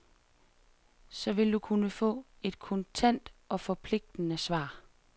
Så vil du kunne få et kontant og forpligtende svar.